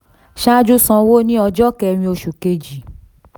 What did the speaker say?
saju san owó ní ọjọ́ kẹ́rin oṣù kejì